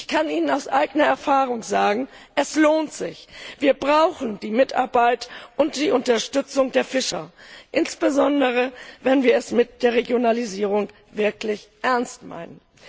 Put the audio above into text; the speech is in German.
Ich kann Ihnen aus eigener Erfahrung sagen Es lohnt sich! Wir brauchen die Mitarbeit und die Unterstützung der Fischer, insbesondere wenn wir es mit der Regionalisierung wirklich ernst meinen.